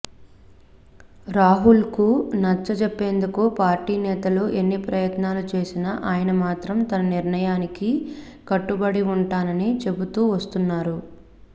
రాహుల్కు నచ్చజెప్పేందుకు పార్టీ నేతలు ఎన్ని ప్రయత్నాలు చేసినా ఆయన మాత్రం తన నిర్ణయానికి కట్టుబడి ఉంటానని చెబుతూ వస్తున్నారు